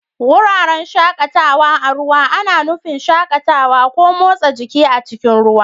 Wuraren shakatawa a ruwa ana nufin shakatawa ko motsa jiki a cikin ruwa.